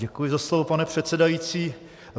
Děkuji za slovo, pane předsedající.